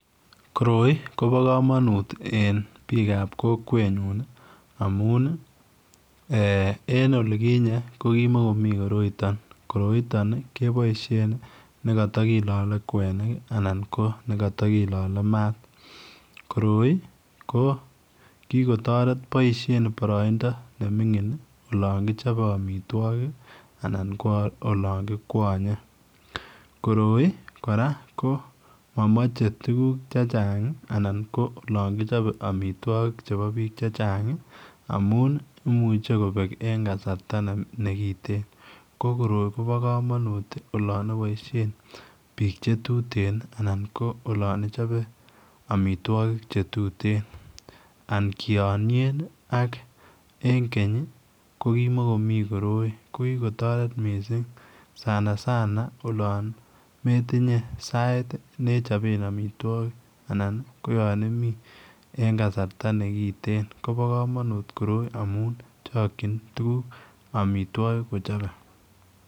Koroi ii koba kamanut en biik ab kokwet nyuun amuun ii eeh en olikinyei ko kimakomii koroitaan, koroitaan kebaisheen nekata kilale kwenik anan ko nekata kilale maat koroi ko kikotaret boisheen baraindaa nemiingin olaan kichape amitwagiik ii anan ko olaan kikwanyei jkoroi kora ko mamachei tuguuk chechaang anan ko olaan kichape amitwagiik chebo biik che chaang ii amuun ii imuuchei kobeek en kasarta nekiteen ko koroi kobaa kamanuut olaan ibaisheen biik che tuteen ii anan ko yaan ochape amitwagiik che tuteen an kianyeen en keeny ii ko kimakomii koroi ko kikotaret missing sana sana olaan metinyei sait nechapeen amitwagiik anan ko yaan imii en kasarta nekiteen kobaa kamanuut koroi amuun chakyiin tuguuk amitwagiik kochape.